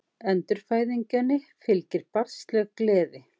Endurfæðingunni fylgir barnsleg gleði.